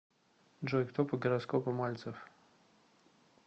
джой кто по гороскопу мальцев